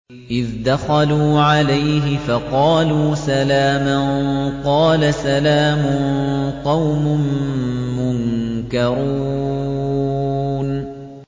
إِذْ دَخَلُوا عَلَيْهِ فَقَالُوا سَلَامًا ۖ قَالَ سَلَامٌ قَوْمٌ مُّنكَرُونَ